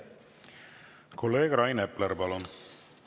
Kolleeg Rain Epler, palun!